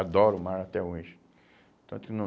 Adoro o mar até hoje. Tanto no